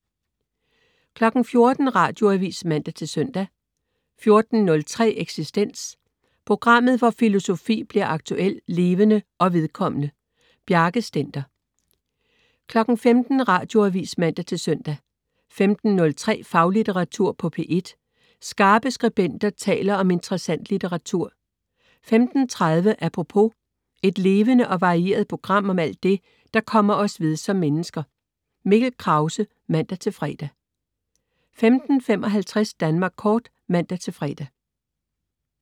14.00 Radioavis (man-søn) 14.03 Eksistens. Programmet, hvor filosofi bliver aktuel, levende og vedkommende. Bjarke Stender 15.00 Radioavis (man-søn) 15.03 Faglitteratur på P1. Skarpe skribenter taler om interessant litteratur 15.30 Apropos. Et levende og varieret program om alt det, der kommer os ved som mennesker. Mikkel Krause (man-fre) 15.55 Danmark Kort (man-fre)